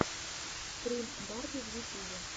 стрим барби в ютюбе